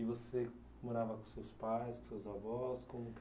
E você morava com seus pais, com seus avós, como